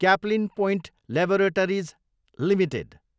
Caplin point laboratories Ltd